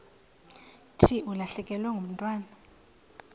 thi ulahlekelwe ngumntwana